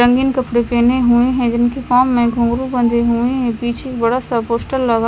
रंगीन कपडे पहने हुए है जिनके पाव में घुंगरू बंधे हुए है पीछे बड़ा सा पोस्टर लगा--